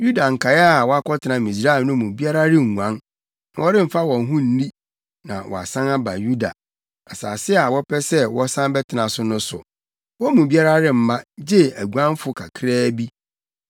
Yuda nkae a wɔakɔtena Misraim no mu biara renguan, na wɔremfa wɔn ho nni na wɔasan aba Yuda, asase a wɔpɛ sɛ wɔsan bɛtena so no so; wɔn mu biara remma, gye aguanfo kakraa bi.”